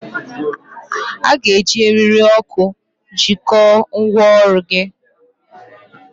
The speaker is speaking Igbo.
A ga-eji eriri oku jikọọ ngwaọrụ gị.